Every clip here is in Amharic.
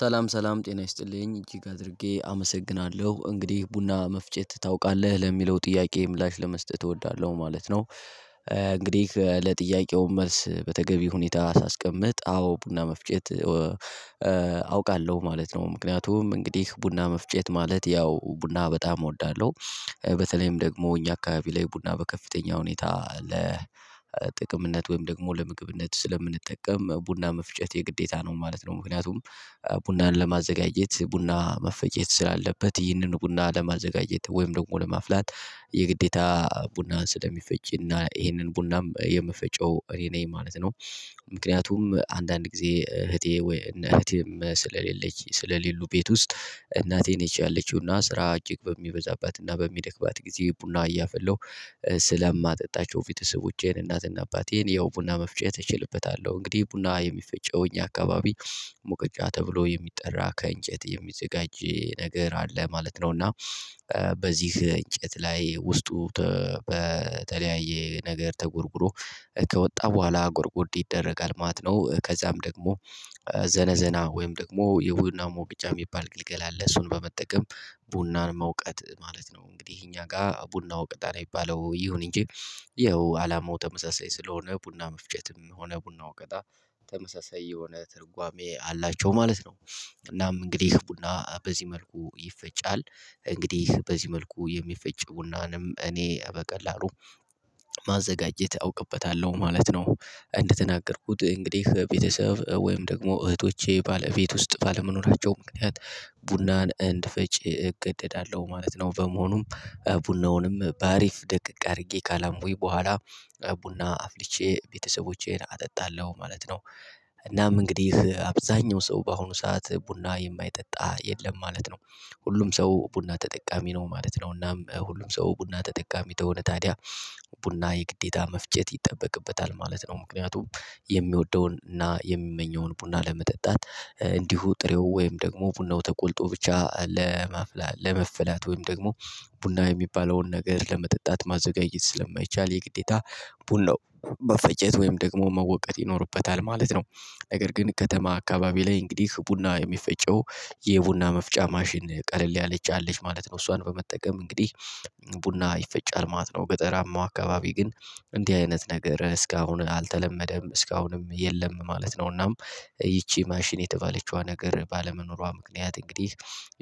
ሰላም ሰላም ጤና ይስጥልኝ እጅግ አድርጌ አመሰግናለው እንግዲህ ቡና መፍጨት ታውቃለህ ለሚለው ጥያቄ ምላሽ ለመስጠት እወዳለሁ ማለት ነው። እንግዲህ ለጥያቄው መልስ በተገቢ ሁኔታ ሳስቀምጥ አዎ ቡና መፍጨት አውቃለሁ ማለት ነው ምክንያቱም እንግዲህ ቡና መፍጨት ማለት ያው ቡና በጣም እወዳለው። በተለይም ደግሞ እኛ አካባቢ ላይ ቡና በከፍተኛ ሁኔታ ለጥቅምነት ወይም ደግሞ ለምግብነት ስለምንጠቀም ቡና መፍጨት የግዴታ ነው ማለት ነው። ምክንያቱም ቡናን ለማዘጋጀት ቡና መፈጨት ስላለበት ይህንኑ ቡና ለማዘጋጀት ወይም ደግሞ ለማፍላት የግዴታ ቡናን ስለሚፈጭና ይሄንን ቡናም የምፈጨው እኔ ነኝ ማለት ነው። ምክንያቱም አንዳንድ ጊዜ እህቴ ወይ እነ እህቴም ስለሌለች ስለሌሉ ቤት ውስጥ እናቴን ነች ያለችው ስራ እጅግ በሚበዛባትና በሚደክማት ጊዜ ቡና እያፈላው ስለማጠጣቸው ቤተ ሰቦቼን እናትና አባቴን ያው ቡና መፍጨት እችልበታለዉ። እንግዲህ ቡና የሚፈጨውኝ አካባቢ ሙቀጫ ተብሎ የሚጠራ ከእንጨት የሚዘጋጅ ነገር አለ ማለት ነው እና በዚህ እንጨት ላይ ውስጡ በተለያየ ነገር ተጎርጉሮ ከወጣ ቦኋላ ጎርጎርድ ይደረጋል ማለት ነው ከዚያም ደግሞ ዘነዘና ወይም ደግሞ የቡና ሞቀጫ የሚባል ግልገል ለእሱን በመጠቀም ቡናን መውቀጥ ማለት ነው። እንግዲህ እኛ ጋ ቡና ወቅጣል አለ የሚባለው ይሁን እንጂ ያው አላማው ተመሳሳይ ስለሆነ ቡና መፍጨትም ሆነ ቡና ወቀታ ተመሳሳይ የሆነ ትርጓሜ አላቸው ማለት ነው። እናም እንግዲህ ቡና በዚህ መልኩ ይፈጫል። እንግዲህ በዚህ መልኩ የሚፈጭ ቡናንም እኔ በቀላሉ ማዘጋጀት አውቅበታለው ማለት ነው። እንደተናገርኩት እንግዲህ ቤተሰብ ወይም ደግሞ እህቶቼ ባለቤት ውስጥ ባለመኖራቸው ምክንያት ቡናን እንድፈጭ እገደዳለው ማለት ነው። በመሆኑም ቡናውንም በአሪፍ ደቀቅ አርጌ ካላምኩኝ ቦኋላ ቡና አፍልቼ ቤተሰቦቼን አጠጣለሁ ማለት ነው። እናም እንግዲህ አብዛኛው ሰው በአሁኑ ሰዓት ቡና የማይጠጣ የለም ማለት ነው። ሁሉም ሰው ቡና ተጠቃሚ ነው ማለት ነው እናም ሁሉም ሰው ቡና ተጠቃሚ ተሆነ ታዲያ ቡና የግዴታ መፍጨት ይጠበቅበታል ማለት ነው። ምክንያቱም የሚወደውን እና የሚመኘውን ቡና ለመጠጣት እንዲሁ ጥሬው ወይም ደግሞ ቡናው ተቆልቶ ብቻ ለመፍላት ወይም ደግሞ ቡና የሚባለውን ነገር ለመጠጣት ማዘጋጀት ስለማይቻል የግዴታ ቡናው መፈጨት ወይም ደግሞ መወቀጥ ይኖርበታል ማለት ነው። ነገር ግን ከተማ አካባቢ ላይ እንግዲህ ቡና የሚፈጨው የቡና መፍጫ ማሽን ቀለል ያለች አለች ማለት ነው። እሷን በመጠቀም እንግዲህ ቡና ይፈጫል ማለት ነው ገጠራማው አካባቢ ግን እንዲህ አይነት ነገር እስካሁን አልተለመደም እስካሁንም የለም ማለት ነው እናም ይቺ ማሽን የተባለችዋ ነገር ባለመኖሯ ምክንያት እንግዲህ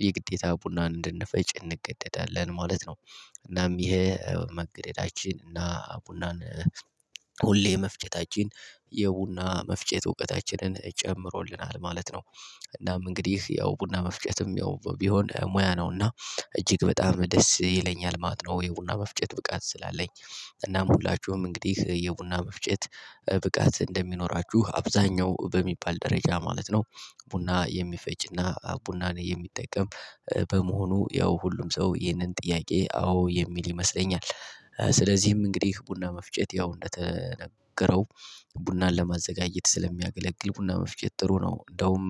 የግዴታ ቡና እንድንፈጭ እንገደዳለን ማለት ነው። እናም ይሄ መገደዳችን እና ቡናን ሁሌ የመፍጨታችን የቡና መፍጨት እውቀታችንን ጨምሮልናል ማለት ነው። እናም እንግዲህ ያው ቡና መፍጨትም ያው ቢሆን ሙያ ነውና እጅግ በጣም ደስ ይለኛል ማት ነው የቡና መፍጨት ብቃት ስላለኝ። እናም ሁላችሁም እንግዲህ የቡና መፍጨት ብቃት እንደሚኖራችሁ አብዛኛው በሚባል ደረጃ ማለት ነው ቡና የሚፈጭና ቡናን የሚጠቀም በመሆኑ ያው ሁሉም ሰው ይህንን ጥያቄ አዎ የሚል ይመስለኛል። ስለዚህም እንግዲህ ቡና መፍጨት ያው እንደተነገረው ቡናን ለማዘጋጀት ስለሚያገለግል ቡና መፍጨት ጥሩ ነው እንዳውም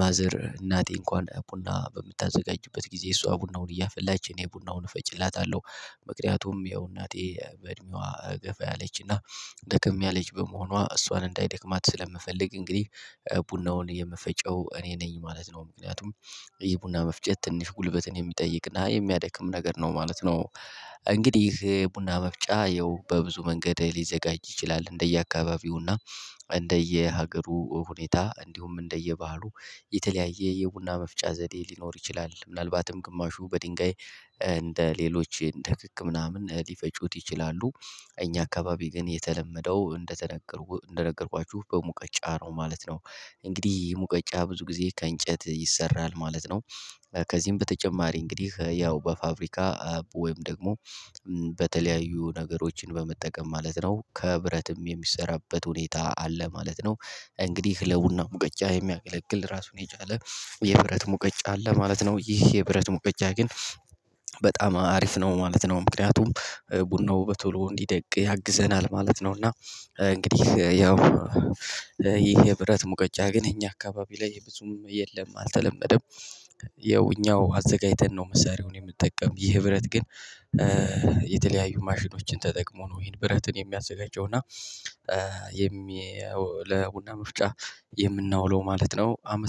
ማዘር እናቴ እንኳን ቡና በምታዘጋጅበት ጊዜ እሷ ቡናውን እያፈላች እኔ ቡናውን እፈጭላታለው። ምክንያቱም ያው እናቴ በእድሜዋ ገፋ ያለችና ደከም ያለች በመሆኗ እሷን እንዳይደክማት ስለምፈልግ እንግዲህ ቡናውን የምፈጨው እኔ ነኝ ማለት ነው። ምክንያቱም ይህ ቡና መፍጨት ትንሽ ጉልበትን የሚጠይቅና የሚያደክም ነገር ነው ማለት ነው። እንግዲህ ቡና መፍጫ ይኸው በብዙ መንገድ ሊዘጋጅ ይችላል እንደየአካባቢውና እንደየሀገሩ ሁኔታ እንዲሁም እንደየባህሉ የተለያየ የቡና መፍጫ ዘዴ ሊኖር ይችላል ምናልባትም ግማሹ በድንጋይ እንደ ሌሎች እንደ ክክ ምናምን ሊፈጩት ይችላሉ። እኛ አካባቢ ግን የተለመደው እንደተነገርኩ እንደነገርኳችሁ በሙቀጫ ነው ማለት ነው። እንግዲህ ሙቀጫ ብዙ ጊዜ ከእንጨት ይሰራል ማለት ነው። ከዚህም በተጨማሪ እንግዲህ ያው በፋብሪካ ወይም ደግሞ በተለያዩ ነገሮችን በመጠቀም ማለት ነው ከብረትም የሚሰራበት ሁኔታ አለ ማለት ነው። እንግዲህ ለቡና ሙቀጫ የሚያገለግል ራሱን የቻለ የብረት ሙቀጫ አለ ማለት ነው ይህ የብረት ሙቀጫ ግን በጣም አሪፍ ነው ማለት ነው ምክንያቱም ቡናው በቶሎ እንዲደቅ ያግዘናል ማለት ነው። እና እንግዲህ ያው ይሄ የብረት ሙቀጫ ግን እኛ አካባቢ ላይ ብዙም የለም አልተለመደም። ያው እኛው አዘጋጅተን ነው መሳሪያውን የምትጠቀም ይህ ብረት ግን የተለያዩ ማሽኖችን ተጠቅሞ ነው ይሄን ብረትን የሚያዘጋጀው እና የሚ ለቡና ምፍጫ የምናውለው ማለት ነው አመስ